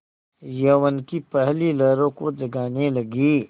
यौवन की पहली लहरों को जगाने लगी